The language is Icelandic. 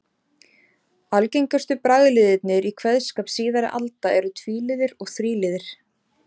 Algengustu bragliðirnir í kveðskap síðari alda eru tvíliður og þríliðir.